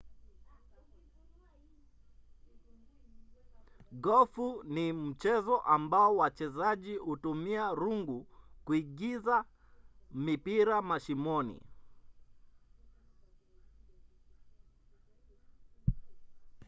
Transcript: gofu ni mchezo ambao wachezaji hutumia rungu kuingiza mipira mashimoni